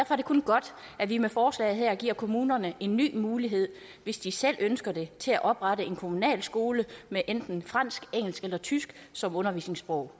er det kun godt at vi med forslaget her giver kommunerne en ny mulighed hvis de selv ønsker det til at oprette en kommunal skole med enten fransk engelsk eller tysk som undervisningssprog